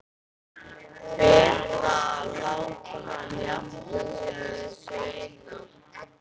Betra að láta hana jafna sig á þessu eina.